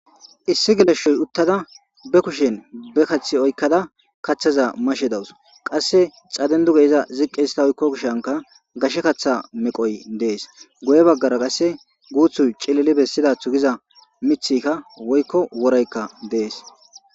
Issi geleshshoy uttada bakushen bakaththi oykkada kathaza mashe dawus qasse xadenduge iza ziqqe ista oykko kushanka gashe kaththa meqoy dees guye baggara qasse guuthuy cilili bessida thugiza mithika woykko woreykka dees.